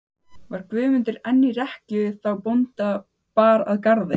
Var Guðmundur enn í rekkju þá bónda bar að garði.